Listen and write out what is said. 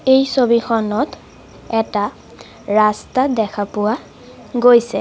এই ছবিখনত এটা ৰাস্তা দেখা পোৱা গৈছে।